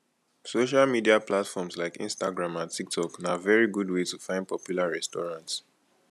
social media platforms like instagram and tiktok na very good way to find popular restaurant